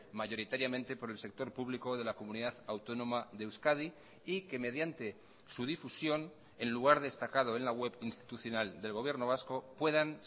mayoritariamente por el sector público de la comunidad autónoma de euskadi y que mediante su difusión en lugar destacado en la web institucional del gobierno vasco puedan